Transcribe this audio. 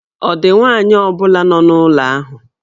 Ọ̀ dị nwaanyị ọ bụla nọ n'ụlọ ahụ?